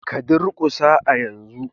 Ka durƙusa a yanzu!